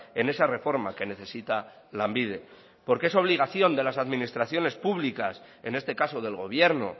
en esa reforma que necesita lanbide porque es obligación de las administraciones públicas en este caso del gobierno